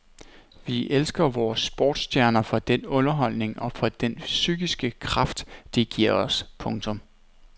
Vi elsker vore sportsstjerner for den underholdning og for den psykiske kraft de giver os. punktum